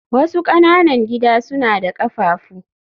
wasu ƙananan gida suna da ƙafafu